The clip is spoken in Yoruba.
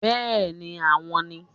Bẹ́ẹ̀ni àwọn ni